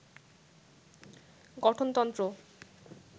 গঠনতন্ত্র